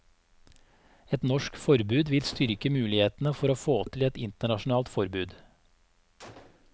Et norsk forbud vil styrke mulighetene for å få til et internasjonalt forbud.